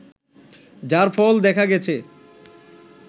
যার ফল দেখা গেছে